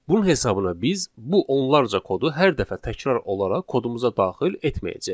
Bunun hesabına biz bu onlarca kodu hər dəfə təkrar olaraq kodumuza daxil etməyəcəyik.